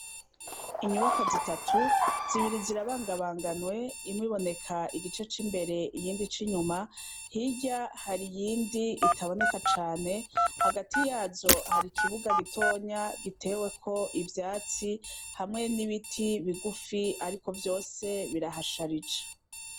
Inyubakwa zitatu, zibiri zirabangabanganwe, imwe iboneka igice c'imbere, iyindi ic'inyuma. Hirya hari iyindi itaboneka cane, hagati yazo hari ikibuga gitonya giteweko ivyatsi hamwe n'ibiti bigufi ariko vyose birahasharije.